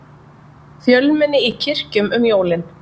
Fjölmenni í kirkjum um jólin